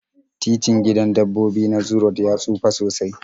Titin gidan dabbobi na zoo road ya tsufa sosai